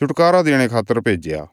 छुटकारा देणे रे खातर भेज्या